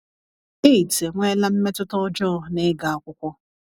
AIDS enweela mmetụta ọjọọ n’ịga akwụkwọ.